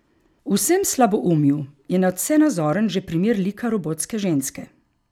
V vsem slaboumju je nadvse nazoren že primer lika robotske ženske.